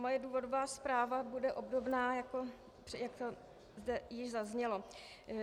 Moje důvodová zpráva bude obdobná, jak to zde již zaznělo.